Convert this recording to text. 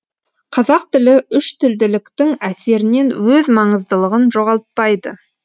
қазақ тілі үштілділіктің әсерінен өз маңыздылығын жоғалтпайды